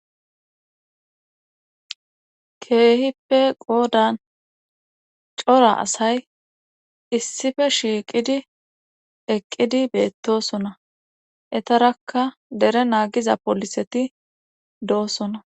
Keehippe qoodan cora asay issife shiiqidi eqqidi beettosona etarakka dere naagiza poliseti doosona.